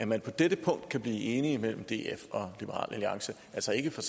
man på dette punkt kan opnå enighed mellem df og liberal alliance altså ikke for